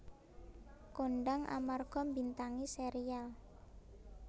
Kondhang amarga mbintangi serial